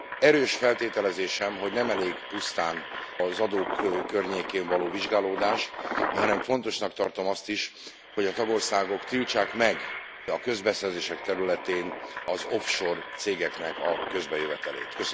Erős feltételezésem, hogy nem elég pusztán az adók környékén való vizsgálódás, hanem fontosnak tartom azt is, hogy a tagországok tiltsák meg a közbeszerzések területén az offshore cégeknek a közbejövetelét.